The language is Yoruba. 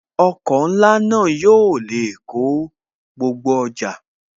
Ọkọ̀ ńlá náà yóò lè kó gbogbo ọjà